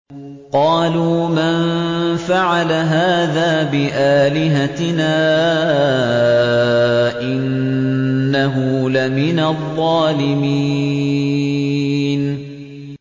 قَالُوا مَن فَعَلَ هَٰذَا بِآلِهَتِنَا إِنَّهُ لَمِنَ الظَّالِمِينَ